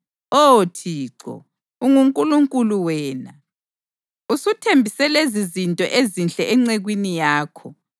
Oh Thixo, unguNkulunkulu wena! Usuthembise lezizinto ezinhle encekwini yakho.